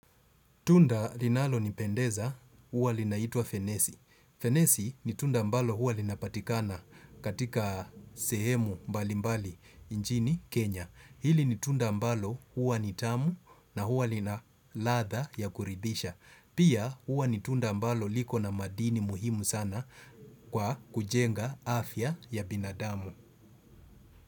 Tunda linalonipendeza, huwa linaitwa fenesi Fenesi ni tunda ambalo huwa linapatikana katika sehemu mbali mbali nchini Kenya. Hili ni tunda ambalo huwa ni tamu na huwa lina ladha ya kuridhisha. Pia huwa ni tunda ambalo liko na madini muhimu sana kwa kujenga afya ya binadamu.